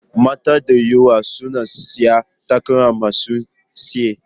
Mata da yawa suna sanya takalma masu tsayi.